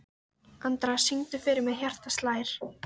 Andra, syngdu fyrir mig „Hjartað slær“.